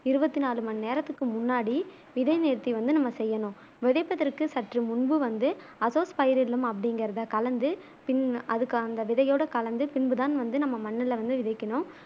இருவத்து நாலு மணி நேரத்துக்கு முன்னாடி விதை நேர்த்தி வந்து நம்ம செய்யனும் விதைப்பதற்கு சற்று முன்பு வந்து அசோஸ்பைரில்லம் அப்டிங்கிறத கலந்து பின் அதுக்கு அந்த விதையோட கலந்து பின்பு தான் வந்து நம்ம மண்ணுல வந்து விதைக்கணும்